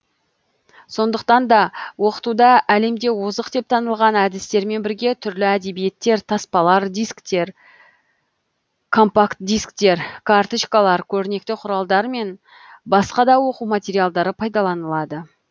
сондықтан да оқытуда әлемде озық деп танылған әдістермен бірге түрлі әдебиеттер таспалар дисктер компакт дисктер карточкалар көрнекті құралдар мен басқа да оқу материалдары пайдаланылады